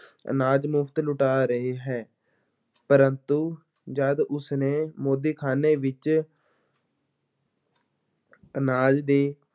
ਅਨਾਜ ਮੁਫ਼ਤ ਲੁਟਾ ਰਿਹਾ ਹੈ, ਪਰੰਤੂ ਜਦ ਉਸਨੇ ਮੋਦੀਖ਼ਾਨੇ ਵਿੱਚ ਅਨਾਜ ਦੇ